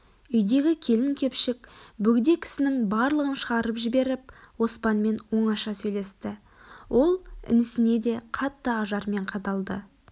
үйдегі келің-кепшік бөгде кісінің барлығын шығарып жіберіп оспанмен оңаша сөйлесті ол інісіне де қатты ажармен қадалды